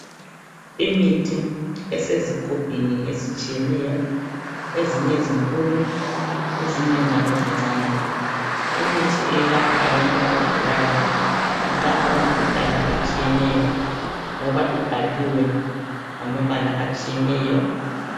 Imithi esezigubhini ezitshiyeneyo ezinye zinkulu ezinye njalo zincane. Imithi eyelapha abantu abagulayo ilapha imkhuhlane etshiyeneyo ngoba ibhaliwe ngamabala atshiyeneyo.